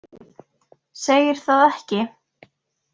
Segir það ekki?